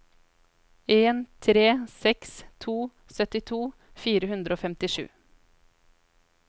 en tre seks to syttito fire hundre og femtisju